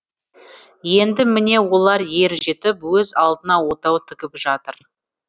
енді міне олар ер жетіп өз алдына отау тігіп жатыр